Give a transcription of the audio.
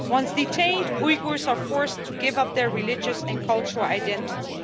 Once detained, Uyghurs are forced to give up their religious and cultural identity.